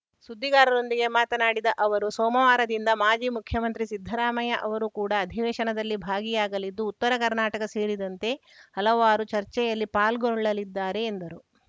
ಸುದ್ದಿಗಾರರೊಂದಿಗೆ ಮಾತನಾಡಿದ ಅವರು ಸೋಮವಾರದಿಂದ ಮಾಜಿ ಮುಖ್ಯಮಂತ್ರಿ ಸಿದ್ದರಾಮಯ್ಯ ಅವರು ಕೂಡ ಅಧಿವೇಶನದಲ್ಲಿ ಭಾಗಿಯಾಗಲಿದ್ದು ಉತ್ತರ ಕರ್ನಾಟಕ ಸೇರಿದಂತೆ ಹಲವಾರು ಚರ್ಚೆಯಲ್ಲಿ ಪಾಲ್ಗೊಳ್ಳಲಿದ್ದಾರೆ ಎಂದರು